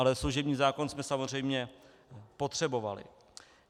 Ale služební zákon jsme samozřejmě potřebovali.